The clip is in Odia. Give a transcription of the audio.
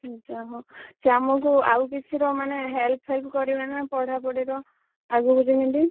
ଆଚ୍ଛା ହଉ ସିଏ ଆମକୁ ଆଉ କିଛି ର ମାନେ, help ଫେଲ୍‌ପ୍‌ କରିବେନା ପଢାପଢି ର? ଆଗକୁ ଯେମିତି।